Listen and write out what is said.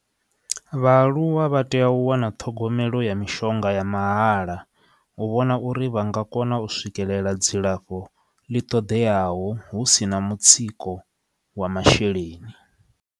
Vhaaluwa vha tea u wana ṱhogomelo ya mishonga ya mahala u vhona uri vha nga kona u swikelela dzilafho ḽi ṱoḓeaho hu sina mutsiko wa masheleni.